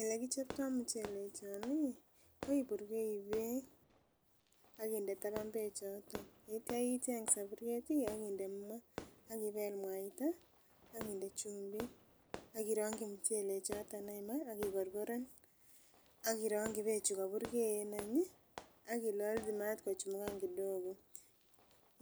elekichoptoo muchelek kyook inyee, iburgeii beek ak inde taban beek choton yeityo icheng soburyeet iih ak inde maah ak ibeel mwaita ak inde chumbiik, ak ironkyi muchelek choton iih ak igorgoren ak ironkyi beek chugoburgee any iih ak ilolchi maat kochumugan kidogo,